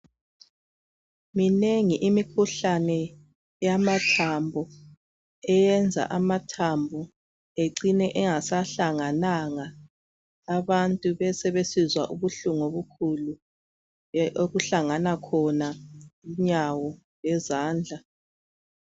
Minengi imikhuhlane yamathambo eyenza amathambo ecine engasahlangananga abanth besebesizwa ubuhlungu obukhulu okuhlangana khona inyawo lezandla.